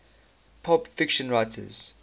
pulp fiction writers